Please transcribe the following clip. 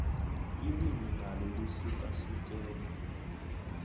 ilimi nalo lihlukahlukene